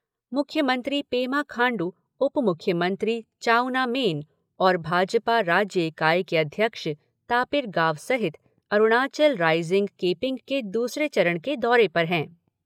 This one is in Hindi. मुख्यमंत्री पेमा खांडू उप मुख्यमंत्री चाउना मेन और भाजपा राज्य इकाई के अध्यक्ष तापिर गाव सहित अरुणाचल राईज़िंग केंपिंग के दूसरे चरण के दौरे पर है।